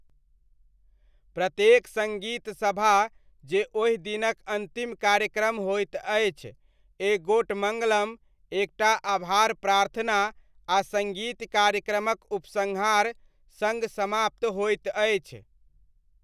प्रत्येक सङ्गीत सभा जे ओहि दिनक अन्तिम कार्यक्रम होइत अछि, एक गोट मङ्गलम, एक टा आभार प्रार्थना आ सङ्गीत कार्यक्रमक उपसंहार सङ्ग समाप्त होइत अछि।